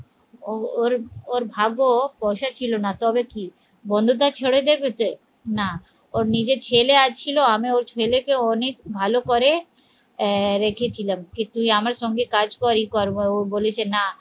ওর ওর ভাগ্য পয়সা ছিল না তবে কি বন্ধুটা ছেড়ে দেবে তে না ওর নিজের ছেলে আছিলো আমি ওর ছেলেকে অনেক ভালো করে আহ রেখেছিলাম যে তুই আমার সঙ্গে কাজ কর ও বলেছে না